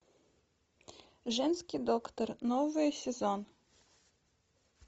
женский доктор новый сезон